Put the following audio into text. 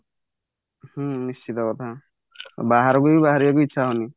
ହୁଁ ନିସ୍ତିତ କଥା ବାହାରକୁ ବି ବାହାରିବାକୁ ଇଚ୍ଛା ହଉନି